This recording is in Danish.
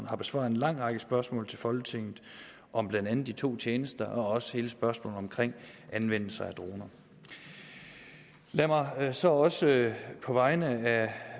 har besvaret en lang række spørgsmål til folketinget om blandt andet de to tjenester og også hele spørgsmålet omkring anvendelse af droner lad mig så også på vegne af